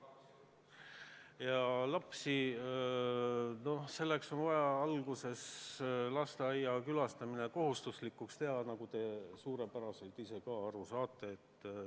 Ja noh, kõigepealt on vaja lasteaias käimine kohustuslikuks teha, nagu te suurepäraselt ka ise aru saate.